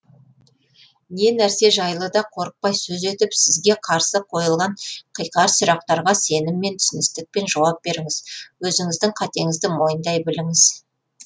не нәрсе жайлы да қорықпай сөз етіп сізге қарсы қойылған қиқар сұрақтарға сеніммен түсіністікпен жауап беріңіз өзіңіздің қатеңізді мойындай біліңіз